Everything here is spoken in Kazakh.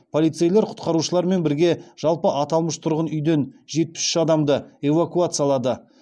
полицейлер құтқарушылармен бірге жалпы аталмыш тұрғын үйден жетпіс үш адамды эвакуациялады